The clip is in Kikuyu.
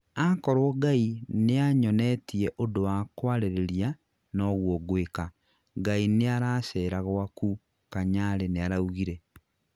akorwo ngai nĩanyonetie ũndũ wa kwarĩrĩria noguo ngwĩka, Ngai nĩaracera gwaku," kanyari nĩaraũgire.